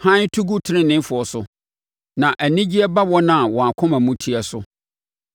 Hann to gu teneneefoɔ so na anigyeɛ ba wɔn a wɔn akoma mu teɛ so.